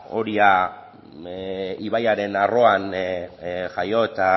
oria ibaiaren arroan jaio eta